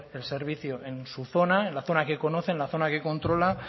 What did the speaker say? el servicio en su zona en la zona que conoce en la zona que controla